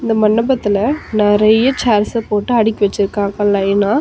இந்த மண்டபத்துல நறைய சேர்ஸ போட்டு அடுக்கி வச்சிருக்காங்க லைனா .